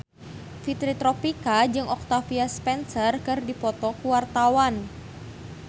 Fitri Tropika jeung Octavia Spencer keur dipoto ku wartawan